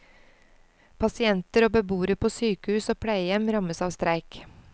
Pasienter og beboere på sykehus og pleiehjem rammes av streik.